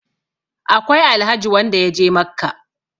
akwai Alhaji wanda ya je Makka